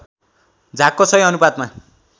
झागको सही अनुपातमा